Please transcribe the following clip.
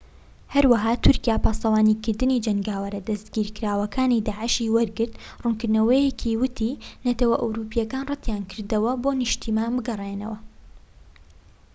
هەروەها تورکیا پاسەوانیکردنی جەنگاوەرە دەستگیرکراوەکانی داعشی وەرگرت ڕوونکردنەوەیەکی ووتی نەتەوە ئەوروپیەکان ڕەتیانکردەوە بۆ نیشتیمان بگەڕێنەوە